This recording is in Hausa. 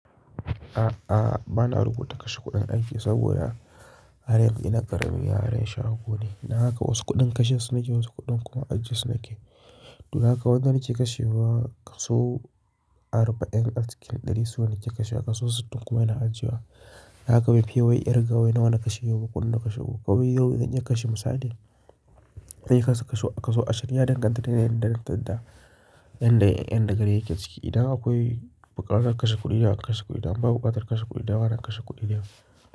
A'a, bana rubuta kashe kuɗin aiki saboda har yanzu ina ƙaramin yaron shago ne. Dan haka wasu kuɗin kashe su na yake wasu kuɗin kuma ajiye su nake. Dun haka wadanda nake kashewa kaso arba'in acikin ɗari suna ke kashewa kaso sittin kuma ina ajiye wa. Dan haka ban fiye nawa na kashe yau ko ko na kashe gobe ba. Yau zan iya kashe misali, na yi kashe kaso ashirin ya danganta da yanayin da na tadda. Yan da, yan da garin yake ciki. Ina akwai bukatar kashe kuɗi ina kashe kuɗi, in babu bukatar kashe kuɗi da na kashe kuɗi da.